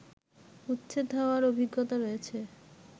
উচ্ছেদ হওয়ার অভিজ্ঞতা রয়েছে